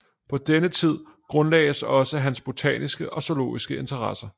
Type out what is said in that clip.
På denne tid grundlagdes også hans botaniske og zoologiske interesser